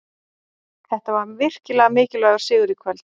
Þetta var virkilega mikilvægur sigur í kvöld.